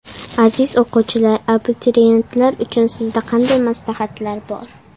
Aziz o‘quvchilar, abituriyentlar uchun sizda qanday maslahatlar bor?